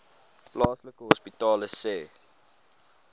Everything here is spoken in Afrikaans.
plaaslike hospitale sê